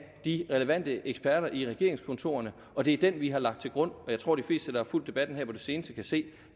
de relevante eksperter i regeringskontorerne og det er den vi har lagt til grund og jeg tror de fleste der har fulgt debatten her på det seneste kan se